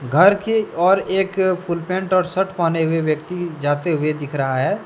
घर की ओर एक फुल पैंट और शर्ट पहने हुए व्यक्ति जाते हुए दिख रहा है।